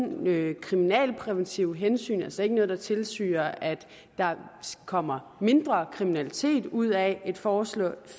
nogen kriminalpræventive hensyn altså ikke noget der tilsiger at der kommer mindre kriminalitet ud af et forslag